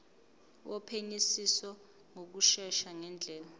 wophenyisiso ngokushesha ngendlela